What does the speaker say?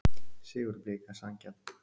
Sigur Blika sanngjarn